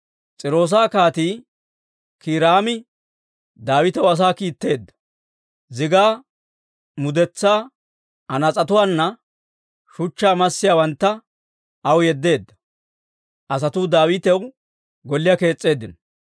S'iiroosa Kaatii Kiiraami Daawitaw asaa kiitteedda. Zigaa mudetsaa, anaas'etuwaanne shuchchaa massiyaawantta aw yeddeedda; asatuu Daawitaw golliyaa kees's'eeddino.